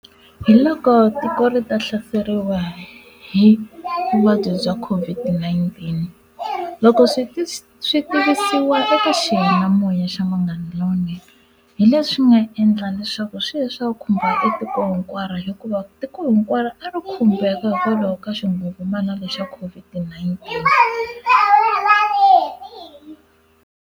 Hi loko tiko ri ta hlaseriwa hi vuvabyi bya COVID-19 loko swi ti swi tivisiwa eka xiyanimoya xa Munghana Lowunene hi leswi nga endla leswaku swilo leswaku khumba etiko hinkwaro hikuva tiko hinkwaro a ri khumbeka hikwalaho ka xingungumana lexa COVID-19.